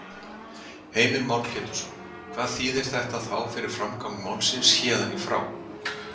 Heimir Már Pétursson: Hvað þýðir þetta þá fyrir framgang málsins héðan í frá?